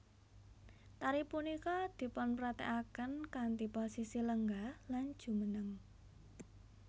Tari punika dipunpraktékaken kanthi posisi lenggah lan jumeneng